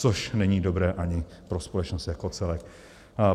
Což není dobré ani pro společnost jako celek.